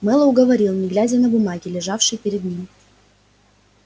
мэллоу говорил не глядя на бумаги лежащие перед ним